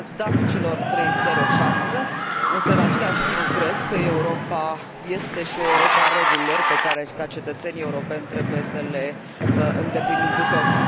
Ați dat celor trei țări o șansă, însă, în același timp, cred că Europa este și o Europă a regulilor pe care, ca cetățeni europeni, trebuie să le îndeplinim cu toții.